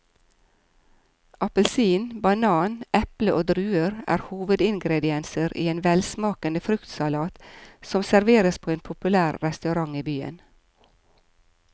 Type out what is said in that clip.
Appelsin, banan, eple og druer er hovedingredienser i en velsmakende fruktsalat som serveres på en populær restaurant i byen.